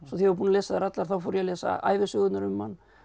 ég var búinn að lesa þær allar fór ég að lesa ævisögurnar um hann